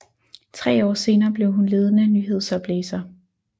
Tre år senere blev hun ledende nyhedsoplæser